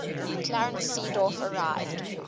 clarence seedorf arrived